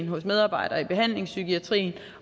hos medarbejdere i behandlingpsykiatrien